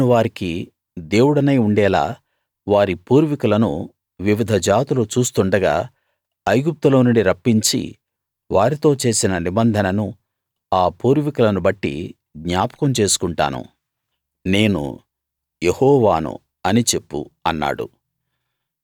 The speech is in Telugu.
నేను వారికి దేవుడనై ఉండేలా వారి పూర్వికులను వివిధ జాతులు చూస్తుండగా ఐగుప్తులో నుండి రప్పించి వారితో చేసిన నిబంధనను ఆ పూర్వికులను బట్టి జ్ఞాపకం చేసుకుంటాను నేను యెహోవాను అని చెప్పు అన్నాడు